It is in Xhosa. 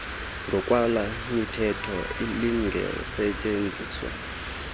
ngokwale mithetho lingasetyenziswa